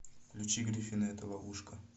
включи гриффины это ловушка